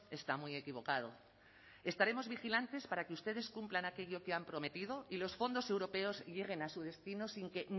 está muy equivocado estaremos vigilantes para que ustedes cumplan aquello que han prometido y los fondos europeos lleguen a su destino sin que